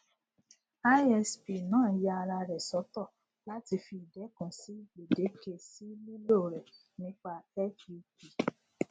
isp náà ya ara rẹ sọtọ láì fi idékun si gbèdéke sí lílò rẹ nípa fup